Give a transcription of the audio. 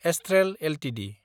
Astral Ltd